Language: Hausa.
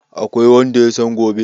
Akwai wanda yasan gobe?